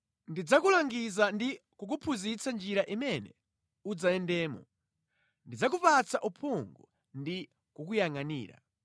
Ndidzakulangiza ndi kukuphunzitsa njira imene udzayendamo; ndidzakupatsa uphungu ndi kukuyangʼanira.